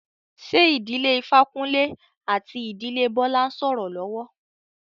Ṣé ìdílé Ifákúnlé àti ìdílé Bọ́lá ń sọ́rọ́ lọ́wọ́?